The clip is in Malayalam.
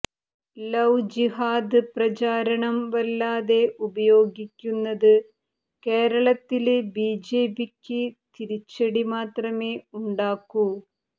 ലവ് ജിഹാദ് പ്രചാരണം വല്ലാതെ ഉപയോഗിക്കുന്നത് കേരളത്തില് ബിജെപിക്ക് തിരിച്ചടി മാത്രമേ ഉണ്ടാക്കൂ